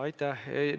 Aitäh!